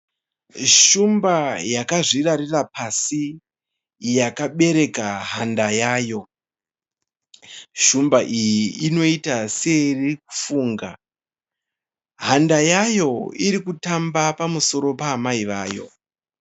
Shumba yakazvirarira pasi yakabereka handa yayo. Shumba iyi inoita seiri kufunga. Handa yayo iri kutamba pamusoro paamai vayo.